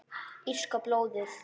Írska blóðið?